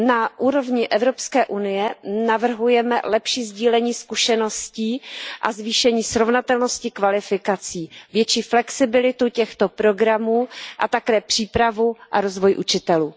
Na úrovni Evropské unie navrhujeme lepší sdílení zkušeností a zvýšení srovnatelnosti kvalifikací, větší flexibilitu těchto programů a také přípravu a rozvoj učitelů.